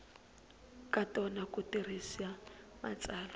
ka tona ku tirhisa matsalwa